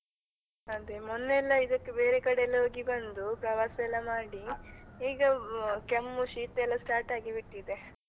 ಅದೆ ಮೊನ್ನೆ ಎಲ್ಲ ಇದಕ್ಕೆ ಬೇರೆ ಕಡೆ ಎಲ್ಲ ಹೋಗಿಬಂದು, ಪ್ರವಾಸ ಎಲ್ಲ ಮಾಡಿ ಈಗ ಕೆಮ್ಮು ಶೀತ ಎಲ್ಲ start ಆಗಿ ಬಿಟ್ಟಿದೆ.